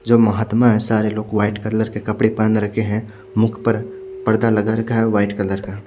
जो महात्मा है सारे लोग व्हाइट कलर के कपड़े पहन रखे है मुख पर पर्दा लगा रखा है व्हाइट कलर का।